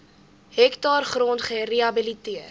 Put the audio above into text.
hektaar grond gerehabiliteer